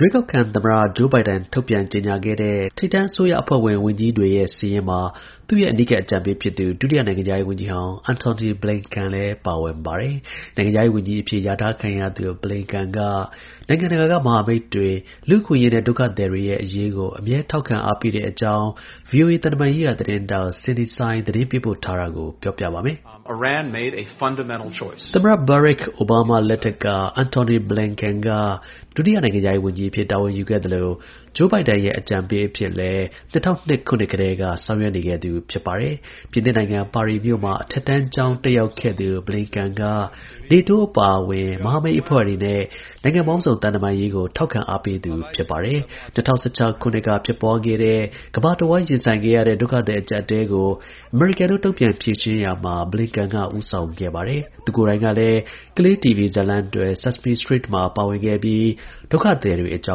ရွေးကောက်ခံ သမ္မတ Joe Biden ထုတ်ပြန်ကြေညာခဲ့တဲ့ ထိပ်တန်း အစိုးရအဖွဲ့ဝင် ဝန်ကြီးတွေရဲ့ စာရင်းမှာ သူ့ရဲ့ အနီးကပ် အကြံပေး ဖြစ်သူ ဒုတိယ နိုင်ငံခြား ရေးဝန်ကြီးဟောင်း Antony Blinken လည်း ပါဝင်ပြီး နိုင်ငံခြားရေးဝန်ကြီးအဖြစ် လျာထားခံရပါတယ်။ Blinkenက နိုင်ငံ တကာက မဟာမိတ် တွေ၊လူ့အခွင့် အရေးနဲ့ ဒုက္ခသည်တွေရဲ့ အရေးကို အမြဲထောက်ခံအားပေးတဲ့အကြောင်း VOA သံတမန်ရေးရာ သတင်း ထောက် Cindy Saine သတင်းပေးပို့ ထားတာကို ကိုရဲမင်းထွန်းက ပြောပြမှာပါ။ သမ္မတ ဘားရက် အိုဘားမား လက်ထက်က Antony Blinken က ဒုတိယ နိုင်ငံခြားရေး ဝန်ကြီးအဖြစ် တာဝန်ယူခဲ့သလို Joe Biden ရဲ့ အကြံ ပေး အဖြစ်လည်း ၂၀၀၂ ခုနှစ်ကတည်းက ဆောင်ရွက်နေခဲ့သူ ဖြစ်ပါတယ်။ ပြင်သစ်နိုင်ငံ၊ ပါရီမြို့မှာ အထက်တန်းကျောင်း တက်ရောက်ခဲ့သူ Blinken က NATO အပါအဝင် မဟာမိတ်အဖွဲ့တွေနဲ့ နိုင်ငံပေါင်းစုံ သံတမန်ရေးကိုလည်း ထောက်ခံအားပေးသူ ဖြစ်ပါတယ်။ ၂၀၁၆ ခုနှစ်က ဖြစ်ပွားခဲ့တဲ့ ကမ္ဘာတစ်ဝှမ်းရင်ဆိုင်ခဲ့ရတဲ့ ဒုက္ခသည် အကျပ်အတည်းကို အမေရိကန်တို့ တုန့်ပြန်ဖြေရှင်းရာမှာ Blinken က ဦး ဆောင်ခဲ့ပါတယ်။ သူကိုယ်တိုင်ကလည်း ကလေးတီဗွီဇတ်လမ်းတွဲ Sesame Streetမှာပါဝင်ခဲ့ပြီးဒုက္ခသည်တွေအကြော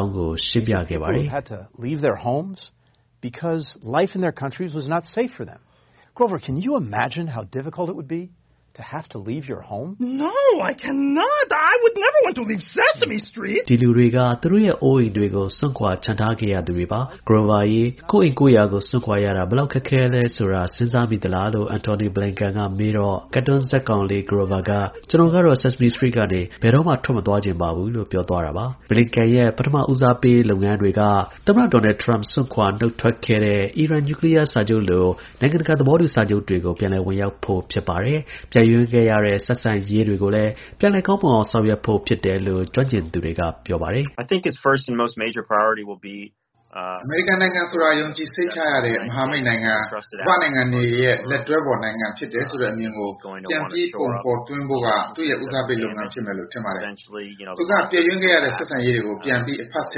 င်းကိုရှင်းပြခဲ့ပါတယ်။ “ဒီလူတွေက သူတို့ရဲ့ အိုးအိမ်တွေကို စွန့်ခွာ ချန်ထားခဲ့ရသူတွေပါ။ Grover ရေ ကိုယ့်အိမ်ကိုယ့်ယာကို စွန့်ခွာရတာ ဘယ်လောက် ခက်ခဲမလဲ ဆိုတာ စဉ်းစားမိသလား။" Blinken က မေးတော့ ကာတွန်းဇာတ်ကောင်လေး“Grover” က “မပြောတတ်ပါဘူး။ ကျွန်တော်ကတော့ Sesame Street ကနေ ဘယ်တော့မှ မထွက်သွားချင်ဘူး။” Blinkenရဲ့ ပထမဦးစားပေးလုပ်ငန်းတွေက သမ္မတ ဒေါ်နယ် ထရမ့် စွန့်ခွာ နှုတ်ထွက်ခဲ့တဲ့ အီရန် နျူးကလီးယားစာချုပ်လို နိုင်ငံတကာ သဘောတူညီချက် တွေကို ပြန်လည် ဝင်ရောက်ဖို့ ဖြစ်ပါတယ်။ ပျက်ယွင်းခဲ့ရတဲ့ ဆက်ဆံရေး တွေကို ပြန်လည် ကောင်းမွန်အောင် ဆောင်ရွက်ဖို့လည်း ဖြစ်တယ်လို့ ကျွမ်းကျင်သူ တွေက ပြောပါတယ်။ Atlantic Council က သုတေသီ တဦးဖြစ်သူ Mark Simakovsky က “အမေရိကန်နိုင်ငံဆိုတာ ယုံကြည် စိတ်ချရတဲ့ မဟာမိတ် နိုင်ငံ၊ ကမ္ဘာ့နိုင်ငံတွေရဲ့ လက်တွဲဖော်နိုင်ငံ ဖြစ်တယ်ဆိုတဲ့ အမြင်ကို ပြန်ပြီး ပုံဖော် သွင်း ဖို့က သူ့ရဲ့ ဦးစားပေးလုပ်ငန်း ဖြစ်မယ်လို့ ထင်တယ်။ သူက ပျက်ယွင်းခဲ့ရတဲ့ ဆက်ဆံရေးတွေကို ပြန်ပြီး အဖတ်ဆ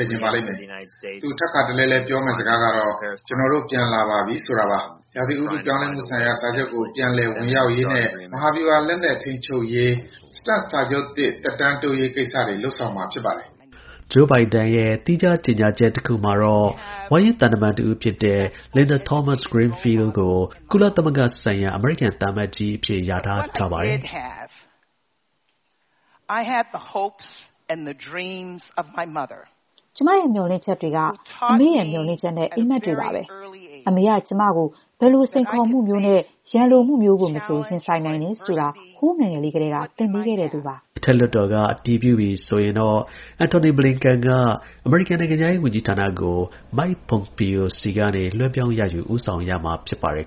ယ်ချင်ပါလိမ့်မယ်။ သူ ထပ်ခါတလဲလဲ ပြောမယ့်စကားကတော့ ကျွန်တော်တို့ ပြန်လာပြီ ဆိုတာပါ။ ဥတုရာသီ ပြောင်းလဲမှုဆိုင်ရာ စာချုပ်ကို ပြန်လည် ဝင်ရောက်ရေးနဲ့ မဟာဗျူဟာ လက်နက် ထိန်းချုပ်ရေး START စာချုပ်သစ် သက်တမ်းတိုးရေး ကိစ္စတွေ လုပ်ဆောင်မှာ ဖြစ်ပါတယ်။ Joe Bidenရဲ့ သီးခြား ကြေညာချက် တစ်ခုမှာတော့ ဝါရင့် သံတမန်တစ်ဦးဖြစ်တဲ့ Linda Thomas-Greenfield ကို Joe Biden က ကုလ သမဂ္ဂဆိုင်ရာ အမေရိကန် သံအမတ်ကြီးအဖြစ် လျာထားသူ ထားပါတယ်။ “ကျွန်မရဲ့ မျှော်လင့်ချက်တွေက အမေ့ရဲ့ မျှော်လင့်ချက်နဲ့ အိပ်မက်တွေပဲ ဖြစ်ပါတယ်။ အမေက ကျွန်မ ဘယ်လို စိန်ခေါ်မှုမျိုးနဲ့ ရန်လိုမှုမျိုးကို မဆို ရင်ဆိုင်နိုင်တယ်ဆိုတာကို ဟိုး ငယ်ငယ်လေးကတည်းက သင်ပေးခဲ့သူပါ။” အထက်လွှတ်တော်က အတည်ပြုပြီ ဆိုရင်တော့ Antony Blinken က နိုင်ငံခြားရေး ဝန်ကြီးဌာနကို Mike Pompeo ဆီကနေ လွှဲပြောင်းရယူ ဦးဆောင်ရမှာ ဖြစ်ပါတယ်